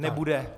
Nebude.